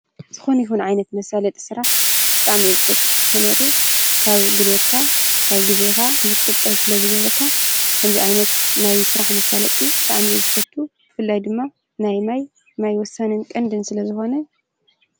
ዝኮነ ይኩን ዓይነት መሳለጢ ስራሕ ብጣዕሚ እየ ዝፈቱ። ምክንታቱ ካብ ጉልበትካ ፣ ካብ ግዜካ ንክትቁጠብ ስለዝገብረካ ከምዚ ዓይነት ናይ ስራሕ መሳለጢ ብጣዕሚ እየ ዝፈቱ ፣ ብፍላይ ድማ ናይ ማይ ማይ ወሳንን ቀንድን ስለ ዝኮነ።